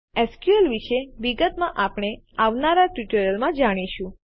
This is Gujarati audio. એસક્યુએલ વિશે વિગતમાં આપણે આવનારા ટ્યુટોરીયલમાં જાણીશું